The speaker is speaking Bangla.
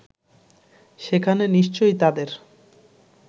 সেখানে নিশ্চয়ই তাদের